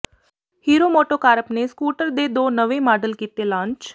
hero MotoCorp ਨੇ scooter ਦੇ ਦੋ ਨਵੇ ਮਾਡਲ ਕੀਤੇ ਲਾਂਚ